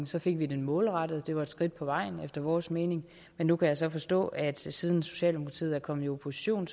så fik vi den målrettet og det var et skridt på vejen efter vores mening men nu kan jeg så forstå at siden socialdemokratiet er kommet i opposition